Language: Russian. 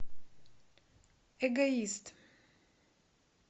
эгоист